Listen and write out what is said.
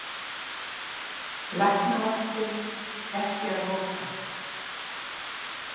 Læknavaktin ekki að loka